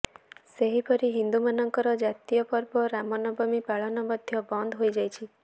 ସେହିପରି ହିନ୍ଦୁମାନଙ୍କର ଜାତୀୟ ପର୍ବ ରାମନବମୀ ପାଳନ ମଧ୍ୟ ବନ୍ଦ ହୋଇ ଯାଇଛି